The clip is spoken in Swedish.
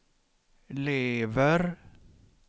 lever